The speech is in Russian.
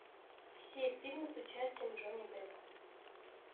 все фильмы с участием джонни деппа